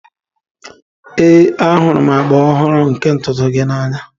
Ee, ahụrụ m agba ọhụrụ nke ntutu gị n'anya